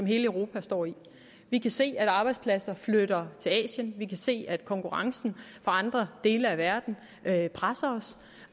hele europa står i vi kan se at arbejdspladser flytter til asien vi kan se at konkurrencen fra andre dele af verden presser os